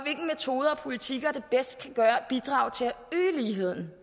politikker der bedst kan bidrage til at øge ligheden